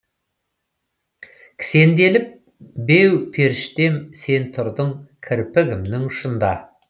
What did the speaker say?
кісенделіп беу періштем сен тұрдың кірпігімнің ұшында